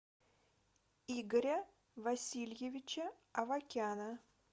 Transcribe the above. игоря васильевича авакяна